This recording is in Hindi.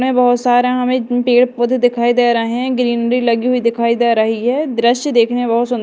में बहोत सारा हमें पेड़ पौधे दिखाई दे रहे है। ग्रीन डी लगी हुई दिखाई दे रही है। दृश्य देखने बहुत सुन्दर--